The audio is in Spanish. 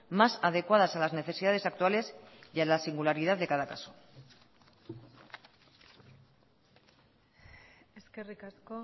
más adecuadas a las necesidades actuales y a la singularidad de cada caso eskerrik asko